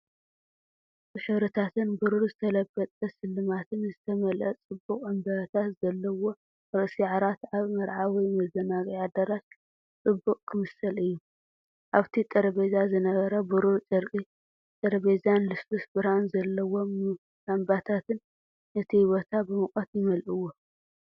ብሕብርታትን ብሩር ዝተለበጠ ስልማትን ዝተመልአ ጽቡቕ ዕምባባታት ዘለዎ ርእሲ ዓራት ኣብ መርዓ ወይ መዘናግዒ ኣዳራሽ ጽቡቕ ክመስል እዩ። ኣብቲ ጠረጴዛ ዝነበረ ብሩር ጨርቂ ጠረጴዛን ልስሉስ ብርሃን ዘለዎም ላምባታትን ነቲ ቦታ ብሙቐት ይመልእዎ፤